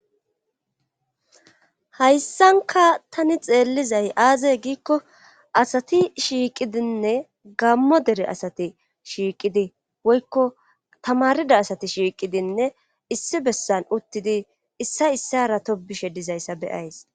Hayssanka tani xeellizay aazey giikko asati shiiqidinne gammo dere asati shiiqidi woykko tamarida asati shiiqidinne issi bessan uttidi issa issara to bishe dizayssa beyays.